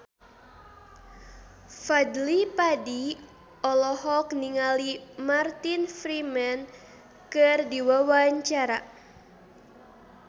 Fadly Padi olohok ningali Martin Freeman keur diwawancara